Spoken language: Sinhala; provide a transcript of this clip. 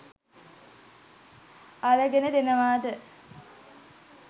අරගෙන දෙනවාද?